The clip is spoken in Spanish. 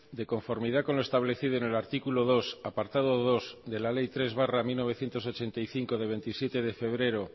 de conformidad con lo establecido en el artículo dos apartado dos de la ley tres barra mil novecientos ochenta y cinco de veintisiete de febrero